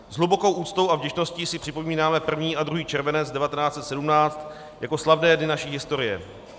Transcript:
S hlubokou úctou a vděčností si připomínáme 1. a 2. červenec 1917 jako slavné dny naší historie.